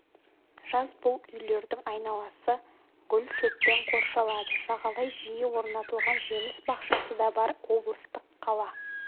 жаз бұл үйлердің айналасы гүл шөппен қоршалады жағалай жиі орнатылған жеміс бақшасы да бар облыстық қала